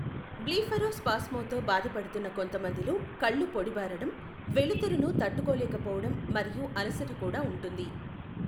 బ్లీఫరోస్పాస్మ్తో బాధపడుతున్న కొంతమందిలో కళ్ళు పొడిబారడం, వెలుతురును తట్టుకోలేకపోవడం మరియు అలసట కూడా ఉంటుంది.